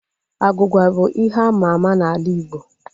Agwugwa bụ ihe àmà àmà n'ala Igbo